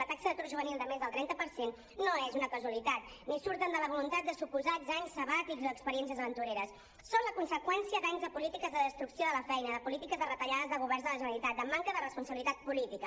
la taxa d’atur juvenil de més del trenta per cent no és una casualitat ni surt de la voluntat de suposats anys sabàtics o d’experiències aventureres són la conseqüència d’anys de polítiques de destrucció de la feina de polítiques de retallades de governs de la generalitat de manca de responsabilitat política